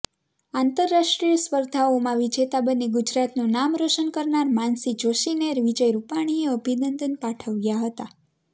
આંતરરાષ્ટ્રીય સ્પર્ધાઓમાં વિજેતા બની ગુજરાતનું નામ રોશન કરનાર માનસી જોશીને વિજય રૂપાણીએ અભિનંદન પાઠવ્યા હતા